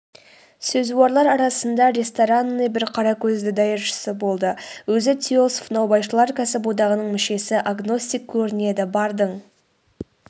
сөзуарлар арасында ресторанный бір қаракөзді даяшысы болды өзі теософ наубайшылар кәсіподағының мүшесі агностик көрінеді бардың